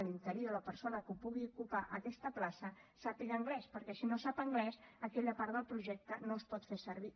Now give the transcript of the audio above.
l’interí o la persona que pugui ocupar aquesta plaça sàpiga anglès perquè si no sap anglès aquella part del projecte no es pot fer servir